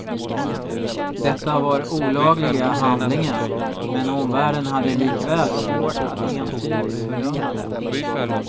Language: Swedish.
Detta var olagliga handlingen, men omvärlden hade likväl svårt att entydigt fördöma dem.